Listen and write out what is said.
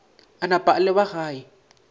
a napa a leba gae